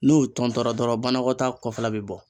N'o tɔntɔra dɔrɔn banakɔtaa kɔfɛla be bɔ.